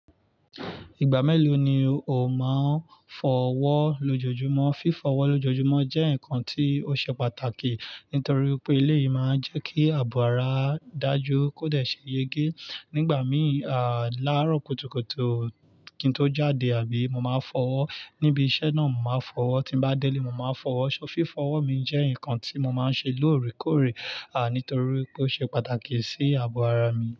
Ìgbà mélòó ni o máa ń fọ ọwọ́ lójoojúmọ́? Fífọ ọwọ lójoojúmọ́ jẹ́ ǹkan tí ó ṣe pàtàkì nítorí pé ilé yìí máa ń jẹ́ kí àbò ara dà jú kódé ṣe yege. Nígbà míì, láàárọ̀ kùtùkùtù kí n tó jáde àbí mo máa fọ ọwọ́ níbi iṣẹ́ náà mo máa fọ ọwọ́, tí bá dẹ́lé mo máa fọ ọwọ́. So fífọ ọwọ́ mi jẹ́ ǹkan tí mo máa ń ṣe lóòrèkóòrè, nítorí pé ó ṣe pàtàkì sí àbò ara mi.